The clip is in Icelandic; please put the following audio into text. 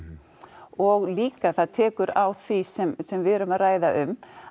og líka það tekur á því sem sem við erum að ræða um